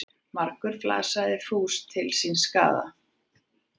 Margur flasar fús til síns skaða.